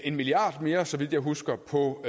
en milliard mere så vidt jeg husker på